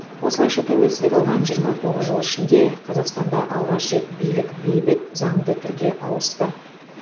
осылайша тәуелсіздік алған жиырма тоғыз жыл ішінде қазақстанда алғаш рет билік бейбіт заңды түрде ауысты